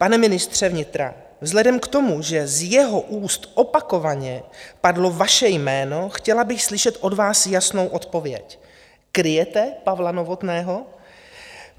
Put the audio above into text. Pane ministře vnitra, vzhledem k tomu, že z jeho úst opakovaně padlo vaše jméno, chtěla bych slyšet od vás jasnou odpověď: Kryjete Pavla Novotného?